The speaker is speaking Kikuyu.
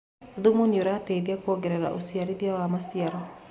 Thũmũ nĩũrateĩthĩa kũongerera ũcĩarĩthĩa wa macĩaro